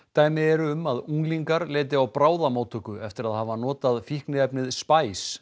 dæmi eru um að unglingar leiti á bráðamóttöku eftir að hafa notað fíkniefnið